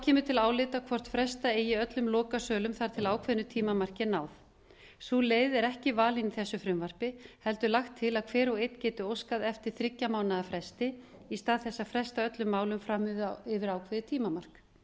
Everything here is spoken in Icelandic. kemur til álita hvort fresta eigi öllum lokasölum þar til ákveðnu tímamarki er náð sú leið er ekki valin í þessu frumvarpi heldur lagt til að hver og einn geti óskað eftir þriggja mánaða fresti í stað þess að fresta öllum málum fram yfir ákveðið tímamark